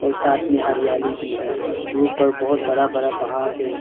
और साथ में हरियाली भी है दूर पर बहुत बड़ा बड़ा पहाड़ है।